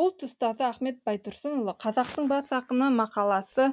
ұлт ұстазы ахмет байтұрсынұлы қазақтың бас ақыны мақаласы